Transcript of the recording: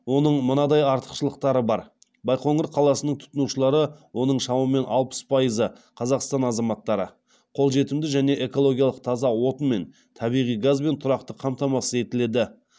оның мынадай артықшылықтары бар байқоңыр қаласының тұтынушылары оның шамамен алпыс пайызы қазақстан азаматтары қолжетімді және экологиялық таза отынмен табиғи газбен тұрақты қамтамасыз етіледі